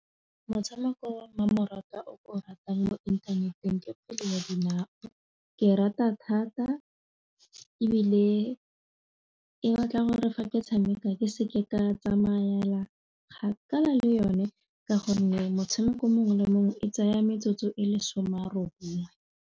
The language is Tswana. Motshameko wa mmamoratwa o ke o ratang mo inthaneteng ke kgwele ya dinao ke e rata thata ebile e batla gore fa ke tshameka ke seke ka tsamaela kgakala le yone ka gonne motshameko mongwe le mongwe e tsaya metsotso e le some a robongwe.